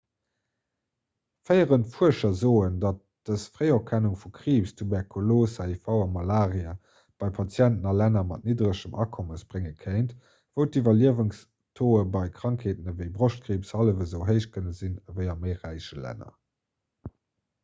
féierend fuerscher soen datt dëst d'fréierkennung vu kriibs tuberkulos hiv a malaria bei patienten a länner mat nidderegem akommes brénge kéint wou d'iwwerliewenstauxe bei krankheeten ewéi broschtkriibs hallef esou héich kënne sinn ewéi a méi räiche länner